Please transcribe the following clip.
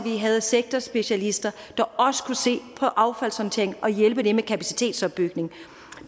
havde sektorspecialister der kunne se på affaldshåndteringen og hjælpe med kapacitetsopbygning